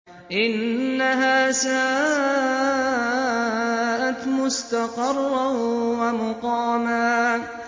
إِنَّهَا سَاءَتْ مُسْتَقَرًّا وَمُقَامًا